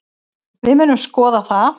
Við munum skoða það.